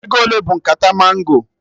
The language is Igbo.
Ego ole bụ nkata mango?